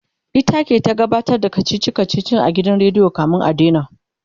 ita ke ta gabatar da kachichi kachichin a gidan rediyo kamin a daina